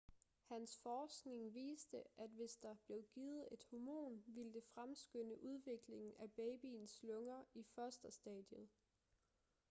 hans forskning viste at hvis der blev givet et hormon ville det fremskynde udviklingen af babyens lunger i fosterstadiet